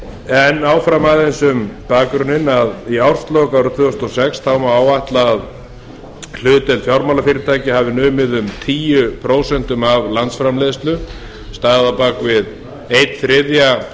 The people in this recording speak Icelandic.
málið áfram aðeins um bakgrunninn að í árslok tvö þúsund og sex má áætla að hlutdeild fjármálafyrirtækja hafi numið um tíu prósent af landsframleiðslu staðið á bak við einn þriðji að